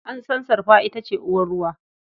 An san sarfa ita ce uwar ruwa.